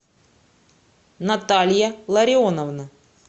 наталья ларионовна